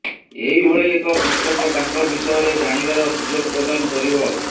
ଏହିଭଳି ଏକ ପୁସ୍ତକ ତାଙ୍କ ବିଷୟରେ ଜାଣିବାର ସୁଯୋଗ ପ୍ରଦାନ କରିବ